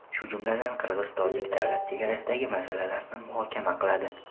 shu jumladan qirg‘iz-tojik davlat chegarasidagi masalalarni muhokama qiladi.